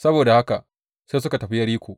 Saboda haka sai suka tafi Yeriko.